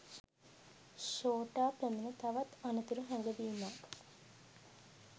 ශෝටා පැමිණ තවත් අනතුරු හැඟවීමක්